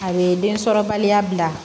A bɛ densɔrɔbaliya bila